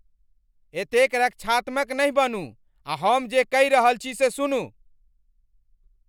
एतेक रक्षात्मक नहि बनू आ हम जे कहि रहल छी से सुनू।